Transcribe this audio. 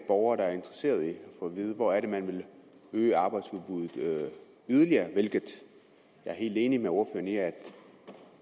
borgere der er interesseret i at få at vide hvor det er man vil øge arbejdsudbuddet yderligere hvilket jeg er helt enig med ordføreren i er